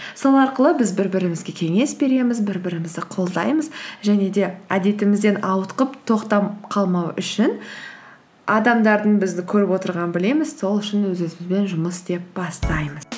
сол арқылы біз бір бірімізге кеңес береміз бір бірімізді қолдаймыз және де әдетімізден ауытқып тоқтап қалмау үшін адамдардың бізді көріп отырғанын білеміз сол үшін өз өзімізбен жұмыс істеп бастаймыз